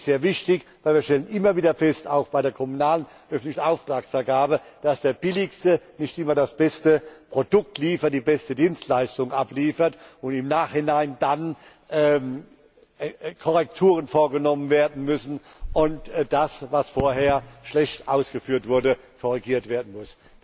Dies ist sehr wichtig, denn wir stellen immer wieder fest auch bei der kommunalen öffentlichen Auftragsvergabe dass der Billigste nicht immer das beste Produkt, die beste Dienstleistung abliefert und im Nachhinein dann Korrekturen vorgenommen werden müssen und das, was vorher schlecht ausgeführt wurde, korrigiert werden muss.